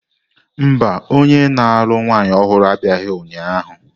Mba, onye na-alụ nwanyị ọhụrụ abịaghị ụnyahụ.